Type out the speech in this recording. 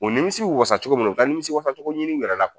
O nimisi bi wasacogo min na o ka nimisi wasacogo ɲini u yɛrɛ la